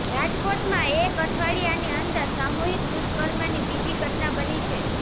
રાજકોટમાં એક અઠવાડિયાની અંદર સામૂહિક દૂષ્કર્મની બીજી ઘટના બની છે